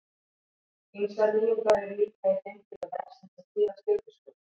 Ýmsar nýjungar eru líka í þeim hluta vefsins sem snýr að stjörnuskoðun.